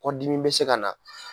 Kɔ dimi bɛ se ka na